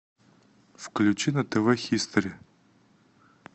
включи на тв хистори